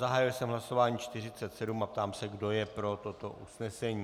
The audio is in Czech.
Zahájil jsem hlasování 47 a ptám se, kdo je pro toto usnesení.